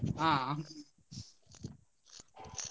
ಆ.